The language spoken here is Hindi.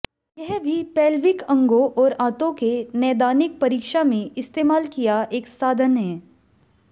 यह भी पैल्विक अंगों और आंतों के नैदानिक परीक्षा में इस्तेमाल किया एक साधन है